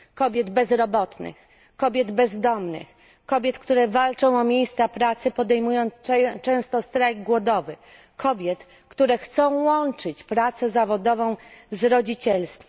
Kobiet bezrobotnych, kobiet bezdomnych, kobiet, które walczą o miejsca pracy, podejmując często strajk głodowy, kobiet, które chcą łączyć pracę zawodową z rodzicielstwem.